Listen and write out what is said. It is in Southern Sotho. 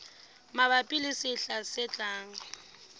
mabapi le sehla se tlang